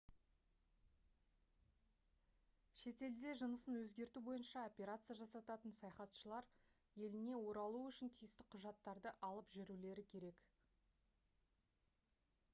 шетелде жынысын өзгерту бойынша операция жасататын саяхатшылар еліне оралуы үшін тиісті құжаттарды алып жүрулері керек